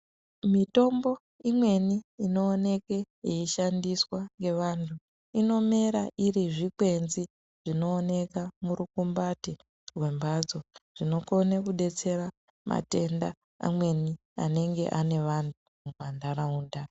Mitombo imweni ino oneke yei shandiswa nge vantu ino mera iri zvikwenzi zvino oneka mu rukumbati rwe mbatso zvino kone ku detsera matenda amweni anenge ane vanhu mu ma ndaraunda.